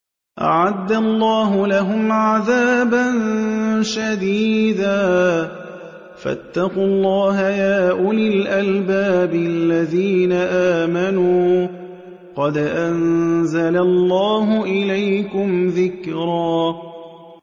أَعَدَّ اللَّهُ لَهُمْ عَذَابًا شَدِيدًا ۖ فَاتَّقُوا اللَّهَ يَا أُولِي الْأَلْبَابِ الَّذِينَ آمَنُوا ۚ قَدْ أَنزَلَ اللَّهُ إِلَيْكُمْ ذِكْرًا